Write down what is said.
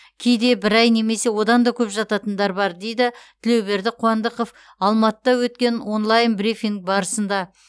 кейде бір ай немесе одан көп жататындар бар деді тілеуберді қуандықов алматыда өткен онлайн брифинг барысында